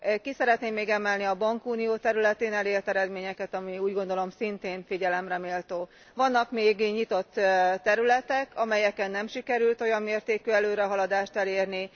Ki szeretném még emelni a bankunió területén elért eredményeket, ami, úgy gondolom, szintén figyelemre méltó. Vannak még nyitott területek, amelyeken nem sikerült olyan mértékű előrehaladást elérni.